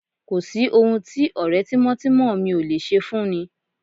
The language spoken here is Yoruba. Kò sí ohun tí ọ̀rẹ́ tímọ́tímọ́ mi ò lè ṣe fúnni